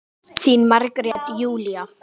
Þín Margrét Júlía.